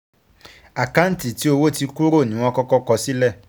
Àkáǹtì tí owó ti kúrò ní wọ́n kọ́kọ́ kọ sílẹ̀.